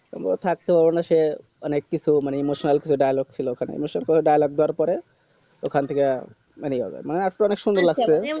আমি ও থাকতে পারবো না সে অনেক কিছু emotional fil dialogue ছিল ওখানে এমন কিছু dialogue দেওয়ার পরে ওখান থেকা বেরিয়ে যাবে মানে আরকি অনেক সুন্দর লাগচে